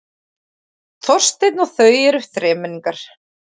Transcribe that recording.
Þorsteinn og þau eru þremenningar.